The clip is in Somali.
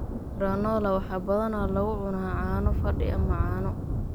Granola waxaa badanaa lagu cunaa caano fadhi ama caano.